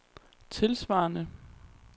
tilsvarende